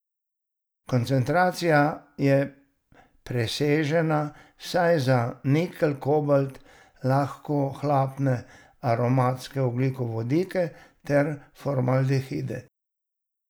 Koncentracija je presežena vsaj za nikelj, kobalt, lahkohlapne aromatske ogljikovodike ter formaldehide.